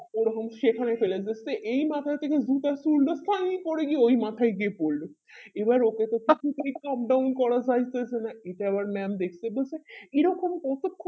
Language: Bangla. ওই রকম সেখরে খেলা বুজছে এই মাথার উড়লো সাই করে গিয়ে ওই মাথায় গিয়ে পড়লো এবার এতে তো shutdown করা যাইতেছে না এটা আবার mam দেখতে পেছে এই রকম করছে